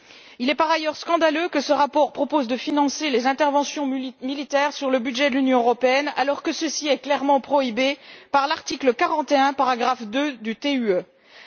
Il est, par ailleurs, scandaleux que ce rapport propose de financer les interventions militaires sur le budget de l'Union européenne, alors que ceci est clairement prohibé par l'article 41, paragraphe 2, du traité sur l'Union européenne.